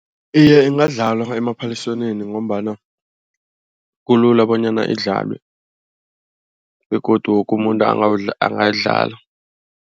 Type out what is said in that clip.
Iye ingadlalwa emaphaliswaneni ngombana kulula bonyana idlalwe begodu woke umuntu angayidlala.